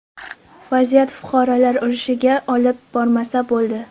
Vaziyat fuqarolar urushiga olib bormasa bo‘ldi.